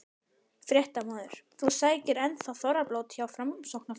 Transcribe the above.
Fréttamaður: Þú sækir enn þá þorrablót hjá Framsóknarflokknum?